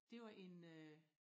Det var en øh